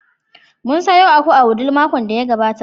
Mun sayo wata aku a Wudil makon da ya gabata.